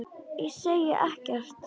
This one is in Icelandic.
Ég segi ekkert.